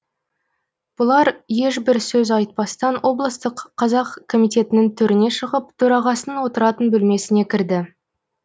бұлар ешбір сөз айтпастан облыстық қазақ комитетінің төріне шығып төрағасының отыратын бөлмесіне кірді